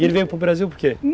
E ele veio para o Brasil por quê?